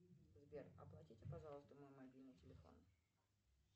сбер оплатите пожалуйста мой мобильный телефон